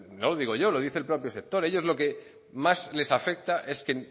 no lo digo yo lo dice el propio sector ellos lo que más les afecta es que